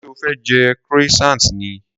Ṣé o fẹ́ jẹ croissant ni?